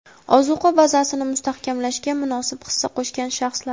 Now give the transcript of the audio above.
ozuqa bazasini mustahkamlashga munosib hissa qo‘shgan shaxslar.